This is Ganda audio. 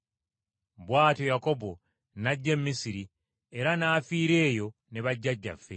Bw’atyo Yakobo n’ajja e Misiri era n’afiira eyo ne bajjajjaffe.